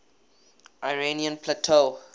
iranian plateau